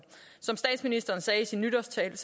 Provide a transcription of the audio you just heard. som statsministeren sagde i sin nytårstale